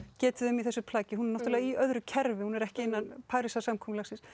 getið um í þessu plaggi hún er náttúrulega í öðru kerfi hún er ekki innan Parísarsamkomulagsins